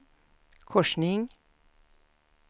korsning